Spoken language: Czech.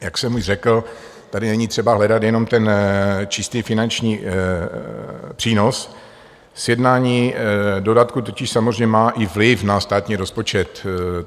Jak jsem už řekl, tady není třeba hledat jenom ten čistý finanční přínos, sjednání dodatku totiž samozřejmě má i vliv na státní rozpočet.